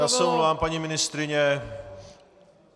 Já se omlouvám, paní ministryně.